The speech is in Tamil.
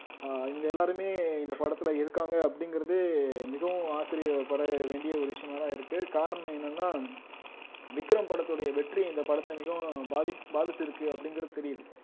அஹ் இவுங்க எல்லாருமே இந்த படத்துல இருக்காங்க அப்படிங்கிறதே மிகவும் ஆச்சரியப்பட வேண்டிய ஒரு விஷயமாதான் இருக்கு காரணம் என்னன்னா விக்ரம் படத்துடைய வெற்றி இந்த படத்தை மிகவும் பாதி பாதிச்சிருக்கு அப்படிங்கிறது தெரியுது